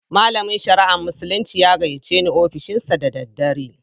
Malamin shari'ar musulunci ya gayyace ni ofishinsa da daddare.